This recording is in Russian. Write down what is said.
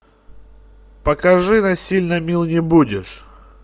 покажи насильно мил не будешь